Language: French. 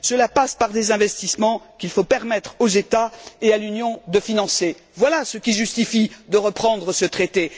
Cela passe par des investissements qu'il faut permettre aux États et à l'Union de financer. Voilà ce qui justifie de reprendre ce traité.